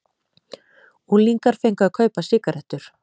Unglingar fengu að kaupa sígarettur